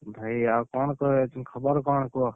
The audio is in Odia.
ଭାଇ ଆଉ କଣ ତୋର ଏ ଖବର କଣ କୁହ?